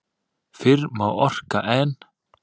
Fyrr má okra en.